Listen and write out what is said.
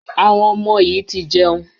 Àwọn ọmọ yìí ti jẹun.